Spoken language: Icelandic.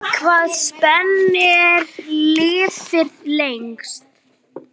Hvaða spendýr lifir lengst?